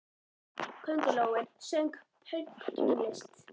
Köngulóin söng pönktónlist!